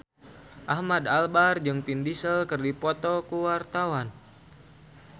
Ahmad Albar jeung Vin Diesel keur dipoto ku wartawan